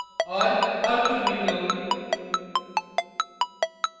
output window